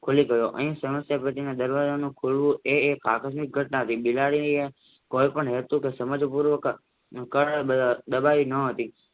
ખુલી ગયો અહીં સમસ્યા ટેટીનો દરવાજાનું ખૂલવું એ આકર્ષિત ઘટના છે બિલાડીએ કોઈ પણ હેતુ કે સમજી પૂર્વક બજાવી ન હતી